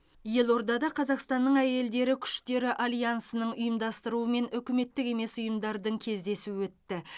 елордада қазақстанның әйелдері күштері альянсының ұйымдастыруымен үкіметтік емес ұйымдардың кездесуі өтті